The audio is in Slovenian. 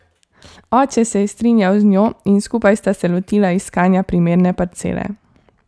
Oče se je strinjal z njo, in skupaj sta se lotila iskanja primerne parcele.